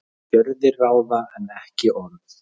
Gjörðir ráða en ekki orð